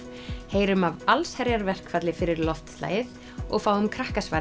heyrum af allsherjarverkfalli fyrir loftslagið og fáum